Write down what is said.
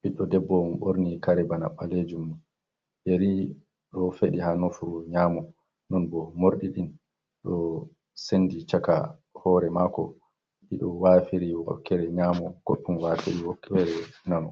Biɗɗo ɗebbo om borni kare bana balejum. Nyeri ɗo feɗi ha nofur nyamo. Non bo morɗiɗin ɗo senɗi chaka. Hore mako ɗiɗo wafiri wakere nyamo, koɗɗun wafiri wakkere nano.